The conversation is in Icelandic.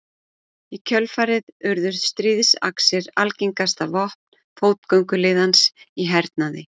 Í kjölfarið urðu stríðaxir algengasta vopn fótgönguliðans í hernaði.